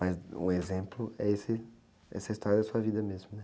Mas um exemplo é esse, essa história da sua vida mesmo, né?